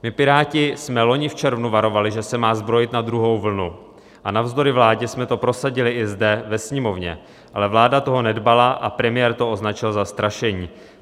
My Piráti jsme loni v červnu varovali, že se má zbrojit na druhou vlnu, a navzdory vládě jsme to prosadili i zde ve Sněmovně, ale vláda toho nedbala a premiér to označil za strašení.